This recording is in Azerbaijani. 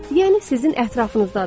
Yəni sizin ətrafınızdadır.